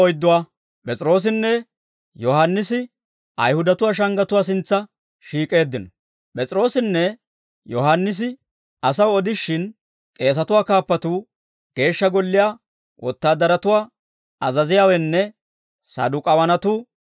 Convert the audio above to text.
P'es'iroossinne Yohaannisi asaw odishin, k'eesatuwaa kaappatuu, Geeshsha Golliyaa wotaadaratuwaa azaziyaawenne Saduk'aawanatuu,